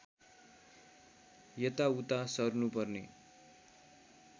यताउता सर्नुपर्ने